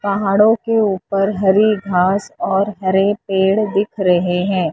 पहाड़ों के ऊपर हरी घास और हरे पेड़ दिख रहे हैं।